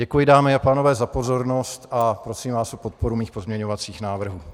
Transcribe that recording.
Děkuji, dámy a pánové, za pozornost a prosím vás o podporu mých pozměňovacích návrhů.